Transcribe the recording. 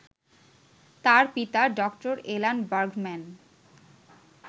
তার পিতা ড. Alan Bergman